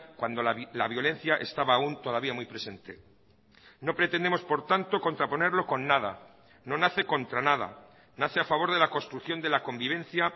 cuando la violencia estaba aún todavía muy presente no pretendemos por tanto contraponerlo con nada no nace contra nada nace a favor de la construcción de la convivencia